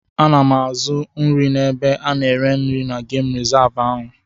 Ana m azụ nri n'ebe ana ere nri na gemụ rizavụ ahụ.